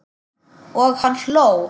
Og hann hló.